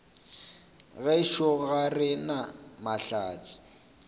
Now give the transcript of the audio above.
gešo ga re na mahlatse